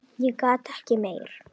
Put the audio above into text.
En ég gat ekki meir.